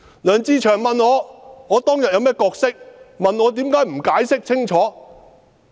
梁志祥議員問我當天有甚麼角色，問我為甚麼不解釋清楚。